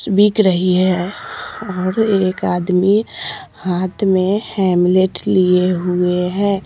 बिक रही है और एक आदमी हाथ में हेमलेट लिए हुए है।